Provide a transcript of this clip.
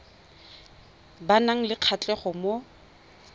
ba nang le kgatlhego mo